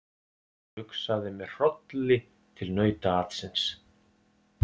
Hugsaði með hrolli til nautaatsins.